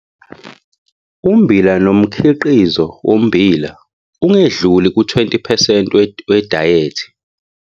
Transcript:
Ummbila nomkhiqizo wommbila ungedluli ku-20 percent wedayethi